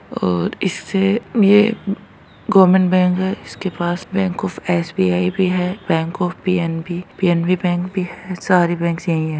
और इससे ये गवर्मेन्ट बैंक है इसके पास bank of S. B. I. भी है bank of P. N. B. P. N. B. Bank भी है सारी बैंकस यही है।